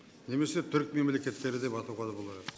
немесе түрік мемлекеттері деп атауға да болар еді